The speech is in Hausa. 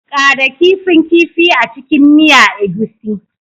Ƙara kifin kifi a cikin miya egusi